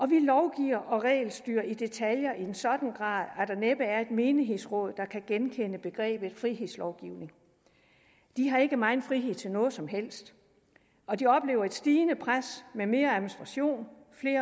vi lovgiver og regelstyrer i detaljer i en sådan grad at menighedsråd der kan genkende begrebet frihedslovgivning de har ikke meget frihed til noget som helst og de oplever et stigende pres med mere administration